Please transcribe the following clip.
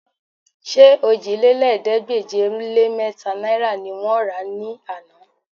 Ṣé òjìlélẹ́ẹ̀ẹ́dégbèje-lé-mẹ́ta náìrà ni wọ́n rà á ní àná?